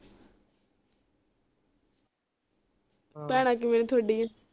ਭੈਣਾਂ ਕਿਵੇਂ ਤੁਹਾਡੀਆਂ